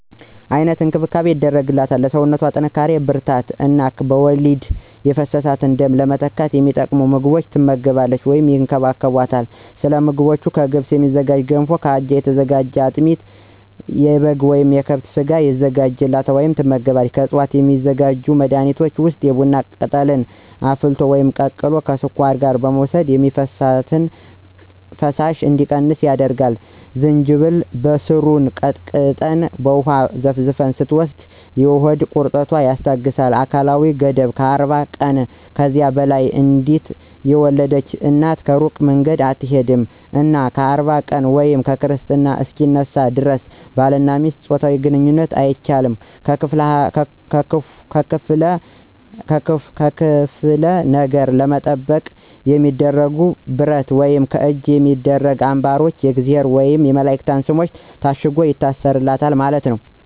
አይነት እንክብካቤ ይደረግላቸዋል ለሰውነቶ ጥንካሪ ብርራታት እነ በወሊድ የፈሰሰውን ደም ለመተካት የሚጠቅሙ ምግቦች ትመገባለች ወይም ይከባከቦታል። ሰለምግቦቹ ከገብስ የሚዝጋጁ ገንፎ ከአጃ የተዘጋጀ አጥሚት የበጋ ወይም የከብት ስጋ የዘጋጅላታል ትመገባለች። ከዕፅዋት የሚዘጋጁ መድኃኒቶች ውስጥ የቡና ቅጠልን አፍልቶ ወይም ቀቅሎ ከስኳር ጋር መውሰድ የሚፈሳት ፈሳሽ እንዲቀንስ ያደርጋል፣ ዝንጅብልን በሰሩን ቀጥቀጠን በውሃ ዘፍዝፈን ስትወስድ የሆድ ቁረጠትን ያስታገሳል። አካላዊ ገደብ 40 የቀንና ከዚያ በላይ አንዴት የወለድች እናት እሩቅ መንገድ አትሆድም እና 40 ቀን ወይም ክርስትና እሰከ ሚነሳ ደረስ ባልና ሚስት ጾታዊ ግንኝነት አይቻልም። ከክፍለ ነገር ለመጠበቅ የሚደረገው ብረት ወይም ከእጅ የሚደረጉ አንባሮች የእግዚአብሔር ወየም የመላእክት ሰሞች ታሽገው ይታሰሩለታል ማለት ነው።